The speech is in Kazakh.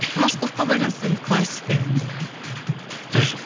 машковка байланысты енді классика енді сөз жоқ